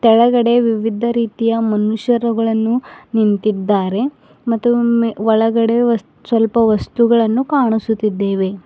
ಕೆಳಗಡೆ ವಿವಿಧ ರೀತಿಯ ಮನುಷ್ಯರುಗಳನ್ನು ನಿಂತಿದ್ದಾರೆ ಮತ್ತು ಮೀ ಒಳಗಡೆ ವಸ್ ಸ್ವಲ್ಪ ವಸ್ತುಗಳನ್ನು ಕಾಣಸುತ್ತಿದ್ದೆವೆ.